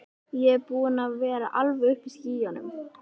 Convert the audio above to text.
Ég er búinn að vera alveg uppi í skýjunum.